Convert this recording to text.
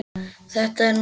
Þetta er nokkuð gott.